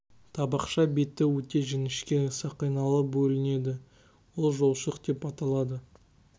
табақша беті өте жіңішке сақиналы бөлінеді ол жолшық деп аталады